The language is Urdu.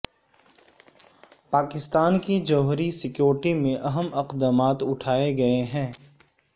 پاکستان کی جوہری سیکیورٹی میں اہم اقدامات اٹھائے گئے ہیں